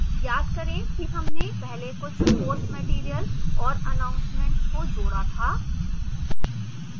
याद करें कि हमने पहले कुछ course material और announcements को जोड़ा था